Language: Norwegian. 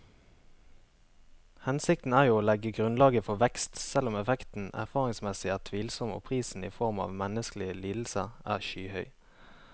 Hensikten er jo å legge grunnlaget for vekst, selv om effekten erfaringsmessig er tvilsom og prisen i form av menneskelige lidelser er skyhøy.